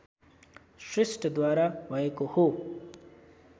श्रेष्ठद्वारा भएको हो